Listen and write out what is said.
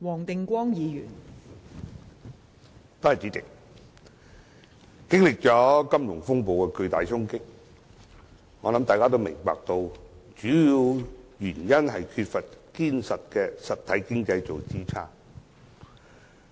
代理主席，經歷金融風暴的巨大衝擊後，相信大家也明白主要的原因就是缺乏堅實的實體經濟作支撐。